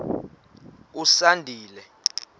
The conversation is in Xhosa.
usandile